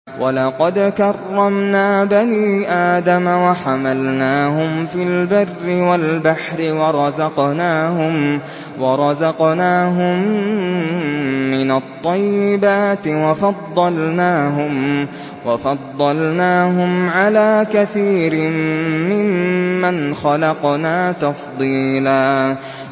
۞ وَلَقَدْ كَرَّمْنَا بَنِي آدَمَ وَحَمَلْنَاهُمْ فِي الْبَرِّ وَالْبَحْرِ وَرَزَقْنَاهُم مِّنَ الطَّيِّبَاتِ وَفَضَّلْنَاهُمْ عَلَىٰ كَثِيرٍ مِّمَّنْ خَلَقْنَا تَفْضِيلًا